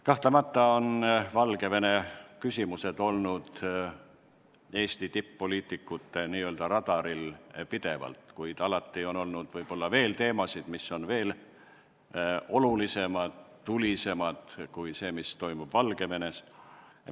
Kahtlemata on Valgevene küsimused olnud pidevalt Eesti tipp-poliitikute n-ö radaril, kuid alati on olnud veel teisigi teemasid, mis on olnud olulisemad ja tulisemad kui see, mis toimub Valgevenes.